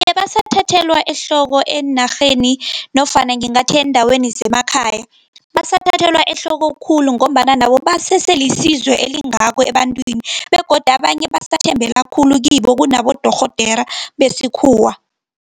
Ebasathathelwa ehloko eenarheni, nofana ngingathi eendaweni zemakhaya. Basathathelwa ehloko khulu, ngombana nabo baseselisizo elingako ebantwini, begodu abanye basathembela khulu kibo kunabodorhodere besikhuwa.